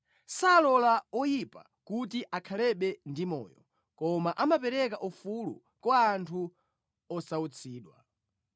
Salola oyipa kuti akhalebe ndi moyo koma amapereka ufulu kwa anthu osautsidwa.